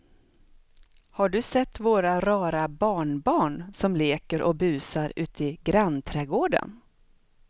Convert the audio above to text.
Har du sett våra rara barnbarn som leker och busar ute i grannträdgården!